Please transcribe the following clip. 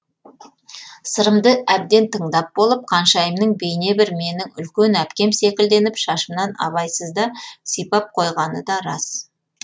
сырымды әбден тыңдап болып қаншайымның бейне бір менің үлкен әпкем секілденіп шашымнан абайсызда сипап қойғаны да рас